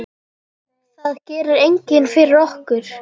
Það gerir enginn fyrir okkur.